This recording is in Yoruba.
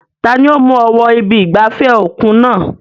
Tani ó mú ọ wọ ibi ìgbafẹ́ òkun náà?